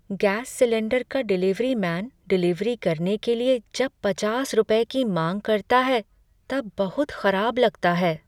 Gas cylinder का delivery man delivery करने के लिए जब पचास रुपये की मांग करता है तब बहुत खराब लगता है।